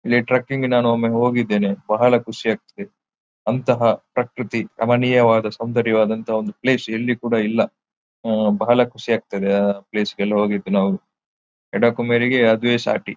ಇಲ್ಲಿ ಟ್ರಿಕ್ಕಿಂಗ್ ಗೆ ನಾನು ಒಮ್ಮೆ ಹೋಗಿದ್ದೇನೆ ಬಹಳ ಖುಷಿಯಾಗ್ತದ್ದೆ ಅಂತಹ ಪ್ರಕೃತಿ ರಮಣೀಯವಾದ ಸೌಂದರ್ಯವದಂತಹ ಪ್ಲೇಸ್ ಎಲ್ಲೋ ಕೂಡ ಇಲ್ಲ ಆಹ್ಹ್ ಬಹಳ ಖುಷಿಯಾಗ್ತಿದ್ದೆ ಆ ಪ್ಲೇಸ್ ಗೆಲ್ಲ ಹೋಗಿದ್ದು ನಾವು ಅದುವೇ ಸಾಟಿ.